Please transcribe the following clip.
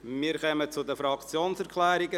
Wir kommen zu den Fraktionserklärungen.